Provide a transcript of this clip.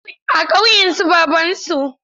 A ƙauyen su babansu.